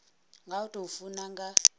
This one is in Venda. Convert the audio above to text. nga u tou funa nga